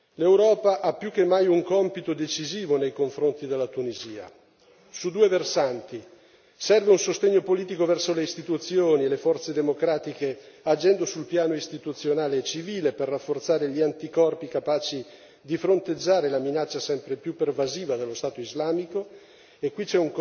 L'Europa ha più che mai un compito decisivo nei confronti della Tunisia, su due versanti. Innanzitutto serve un sostegno politico alle istituzioni e alle forze democratiche agendo sul piano istituzionale e civile, per rafforzare gli anticorpi capaci di fronteggiare la minaccia sempre più pervasiva dello Stato islamico e qui,